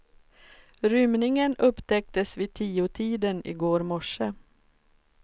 Rymningen upptäcktes vid tiotiden i går morse.